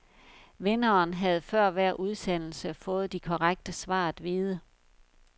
Vinderen havde før hver udsendelse fået de korrekte svar at vide.